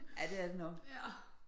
Ja det er det nok